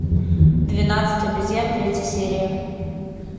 двенадцать обезьян третья серия